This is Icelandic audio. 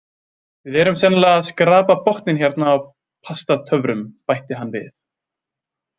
Við erum sennilega að skrapa botninn hérna á Pastatöfrum, bætti hann við.